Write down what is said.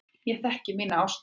Ég þekki mína ástmenn.